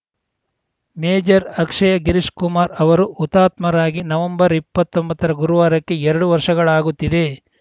major Akshay Girish Kumar ಅವರು ಹುತಾತ್ಮರಾಗಿ November ಇಪ್ಪತ್ತೊಂಬತ್ತರ ಗುರುವಾರಕ್ಕೆ ಎರಡು ವರ್ಷಗಳಾಗುತ್ತಿದೆ